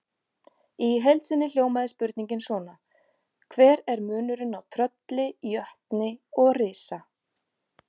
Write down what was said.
Í heild sinni hljómaði spurningin svona: Hver er munurinn á trölli, jötni og risa?